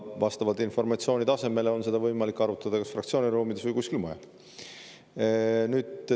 Vastavalt informatsiooni tasemele on seda võimalik arutada kas fraktsiooni ruumides või kuskil mujal.